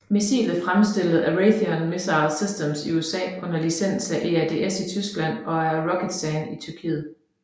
Missilet fremstilles af Raytheon Missile Systems i USA og under licens af EADS i Tyskland og af ROKETSAN i Tyrkiet